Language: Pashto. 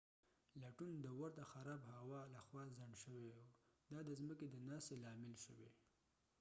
لټون د ورته خراب هوا لخوا خنډ شوی و دا د ځمکی د ناستې لامل شوی